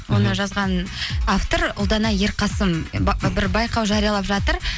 оны жазған автор ұлдана ерқасын бір байқау жариялап жатыр